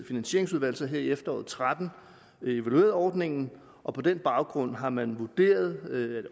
finansieringsudvalg så her i efteråret og tretten evalueret ordningen og på den baggrund har man vurderet det